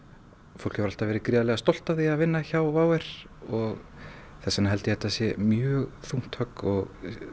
fólk hefur alltaf verið gríðarlega stolt af því að vinna hjá WOW air og þess vegna held ég að þetta sé mjög þungt högg og